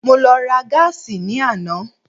Mo lọ ra gáàsì ní àná.